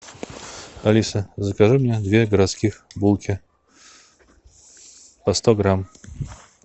алиса закажи мне две городских булки по сто грамм